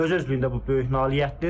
Öz-özlüyündə bu böyük nailiyyətdir.